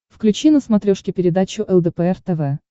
включи на смотрешке передачу лдпр тв